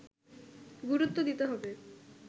গুরুত্ব দিতে হবে